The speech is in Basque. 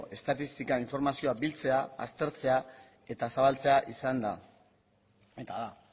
estatistika informazioa biltzea aztertzea eta zabaltzea izan da eta da